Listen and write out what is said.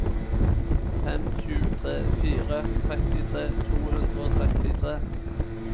fem sju tre fire trettitre to hundre og trettitre